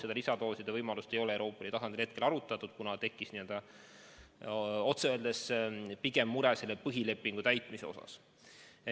Seda lisadooside võimalust ei ole Euroopa Liidu tasandil arutatud, kuna tekkis otse öeldes mure selle põhilepingugi täitmise osas.